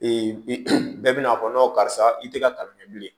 bɛɛ bɛna'a fɔ karisa i tɛ kalikɛ bilen